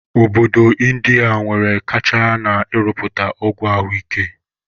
Obodo Indiya nwere kacha na-ịrụpụta ọgwụ ahụ ike